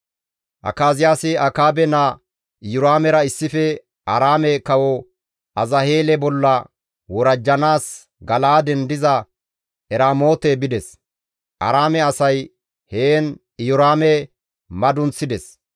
Akaziyaasi Akaabe naa Iyoraamera issife Aaraame kawo Azaheele bolla worajjanaas Gala7aaden diza Eramoote bides; Aaraame asay heen Iyoraame madunththides.